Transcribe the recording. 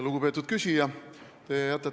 Lugupeetud küsija!